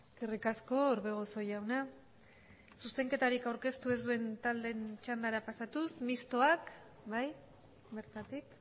eskerrik asko orbegozo jauna zuzenketarik aurkeztu ez duen taldeen txandara pasatuz mistoak bai bertatik